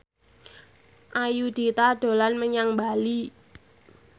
Ayudhita dolan menyang Bali